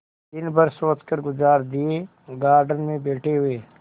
दिन भर सोचकर गुजार दिएगार्डन में बैठे हुए